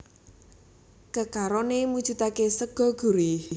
Kekaroné mujudaké sega gurih